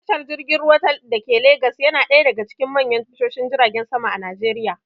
Tashar jirgin ruwa dake legas yana ɗaya daga cikin manyan tashoshin jiragen sama a najeriya